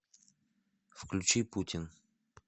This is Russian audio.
включи путин